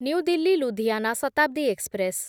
new Delhi Ludhiana Shatabdi express